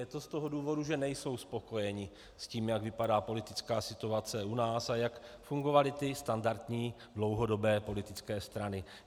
Je to z toho důvodu, že nejsou spokojeni s tím, jak vypadá politická situace u nás a jak fungovaly ty standardní dlouhodobé politické strany.